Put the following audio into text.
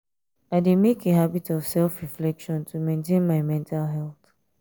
i dey make a habit of self-reflection to maintain my mental health.